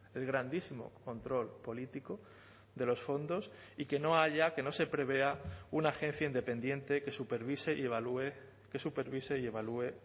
el grandísimo control político de los fondos y que no haya que no se prevea una agencia independiente que supervise y evalúe que supervise y evalúe